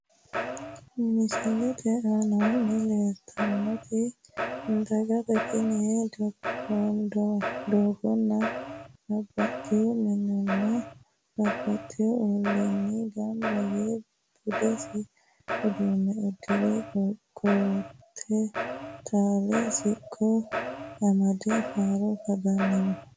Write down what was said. Misilette aanaanni leellitaanketti dagate tini daganno babaxewo mininiinna babaxewo oliinni ganba yee budisi uduunne udire qote taale siqqo amade faaro kadannino